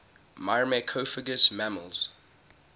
myrmecophagous mammals